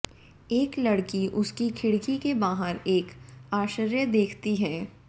एक लड़की उसकी खिड़की के बाहर एक आश्चर्य देखती है